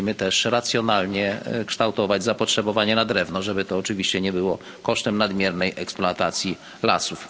Musimy też racjonalnie kształtować zapotrzebowanie na drewno, żeby to oczywiście nie było kosztem nadmiernej eksploatacji lasów.